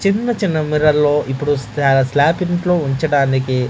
చిన్న చిన్న మిర్రల్లో ఇప్పుడు స్లాప్ ఇంట్లో ఉంచడానికి--